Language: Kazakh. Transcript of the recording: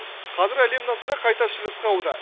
қазір әлем назары қайта шығысқа ауды